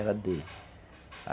Era dele.